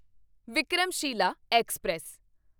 Vikramshila express